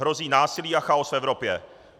Hrozí násilí a chaos v Evropě.